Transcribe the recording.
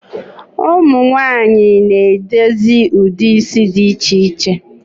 Ụmụnwanyị na edozi ụdị isi dị iche iche